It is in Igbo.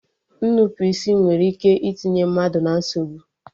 Nnupụisi nwere ike itinye mmadụ na nsogbu